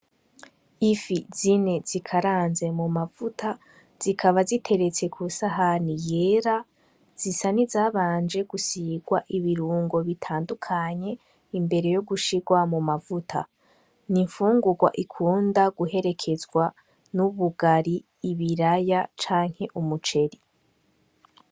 Ifi zine zikaranze mu mavuta zikaba ziteretse ku sahani yera zisa ni zabanje gusirwa ibirungo bitandukanye imbere yo gushirwa mu mavuta ni imfungurwa ikunda guherekezwa n'ubugari ibiraya canke umuwe ceri.